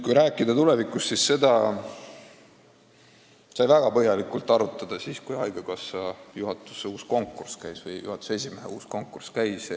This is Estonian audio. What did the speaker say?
Kui rääkida tulevikust, siis seda sai väga põhjalikult arutatud siis, kui haigekassa juhatuse uue esimehe konkurss käis.